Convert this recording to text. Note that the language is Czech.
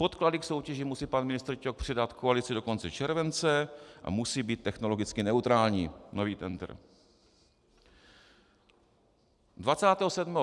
Podklady k soutěži musí pan ministr Ťok předat koalici do konce července a musí být technologicky neutrální - nový tendr.